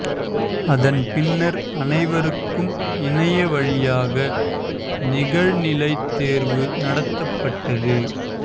அதன் பின்னா் அனைவருக்கும் இணைய வழியாக நிகழ்நிலை தோ்வு நடத்தப்பட்டது